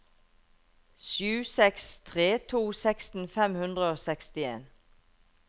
sju seks tre to seksten fem hundre og sekstien